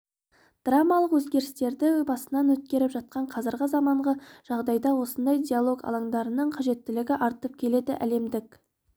драмалық өзгерістерді басынан өткеріп жатқан қазіргі заманғы жағдайда осындай диалог алаңдарының қажеттілігі артып келеді әлемдік